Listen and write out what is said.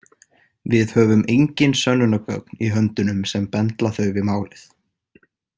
Við höfum engin sönnunargögn í höndunum sem bendla þau við málið.